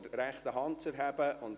Herr Martin leistet den Eid.